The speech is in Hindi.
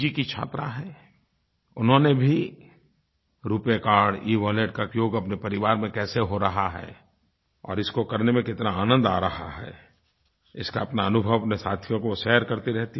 की छात्रा हैं उन्होंने भी रूपे कार्ड इवॉलेट का उपयोग अपने परिवार में कैसे हो रहा है और इसको करने में कितना आनंद आ रहा है इसका अपना अनुभव अपने साथियों को शेयर करती रहती हैं